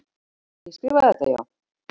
Ég skrifaði þetta, já.